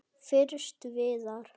Fyrst Viðar.